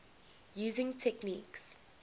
using techniques